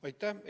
Aitäh!